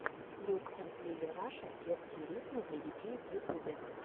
льюк энд лили раша детские рифмы для детей в ютубе